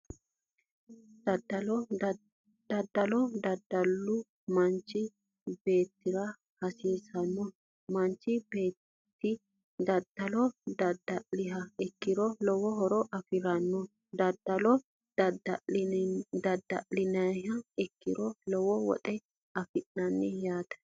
Daddalo daddalu manchi beettira hasiisannoho manchi beetti daddalo daddalaaha ikkiro lowo horo afiranno daddalo daddalliha ikkiro lowo woxe afi'nanni yaate